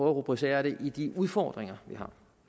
at rubricere det i de udfordringer vi har